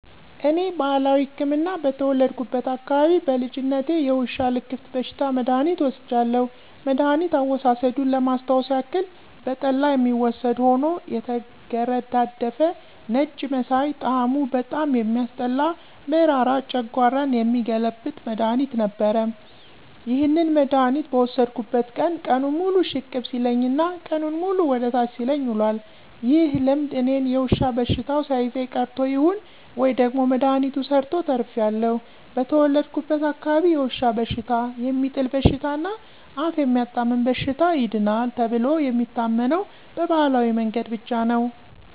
እኔ ባህላዊ ህክምና በተወለድኩበት አካባቢ በልጅነቴ የውሻ ልክፍት በሽታ መድሐኒት ወስጃለሁ። መድኋኒት አወሳሰዱን ለማስታወስ ያክል በጠላ የሚወሰድ ሆኖ የተገረዳደፈ ነጭ መሳይ ጣሙ በጣም የሚያስጠላ መራራ ጨንጓራ የሚገለብጥ መድሐኒት ነበር። ይህንን መድሐኒት በወሰድኩበት ቀን ቀኑን ሙሉ ሽቅብ ሲለኝ እና ቀኑንን ሙሉ ወደ ታች ሲለኝ ውሏል። ይህ ልምድ እኔን የዉሻ በሽተው ሳይዘኝ ቀርቶ ይሁን ወይም ደግሞ መድሐኒቱ ሰርቶ ተርፌአለሁ። በተወለድኩበት አካባቢ የውሻ በሽታ፣ የሚጥል በሽታ እና አፍ የሚያጣምም በሽታ ይድናል ተብሎ የሚታመነው በባህላዊ መንገድ ብቻ ነው።